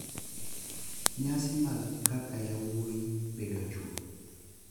Nyasi mag kaka yawuoyi bedo chuo.